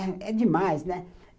É demais, né?